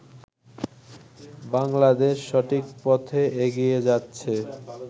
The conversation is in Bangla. বাংলাদেশ সঠিক পথে এগিয়ে যাচ্ছে।